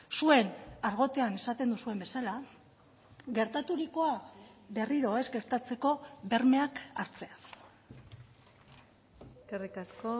zuen argotean esaten duzuen bezala gertaturikoa berriro ez gertatzeko bermeak hartzea eskerrik asko